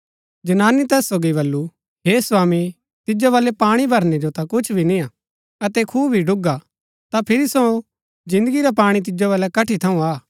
जनानी तैस सोगी वलू हे स्वामी तिजो वल्लै पाणी भरनै जो ता कुछ भी निय्आ अतै खूआ भी ढूगा ता फिरी सो जिन्दगी रा पाणी तिजो वल्लै कठी थऊँ आ